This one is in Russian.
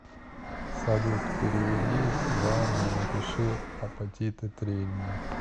салют переведи ивану и напиши апатиты тренинг